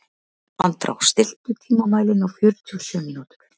Andrá, stilltu tímamælinn á fjörutíu og sjö mínútur.